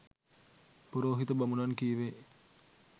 පුරෝහිත බමුණන් කීවේ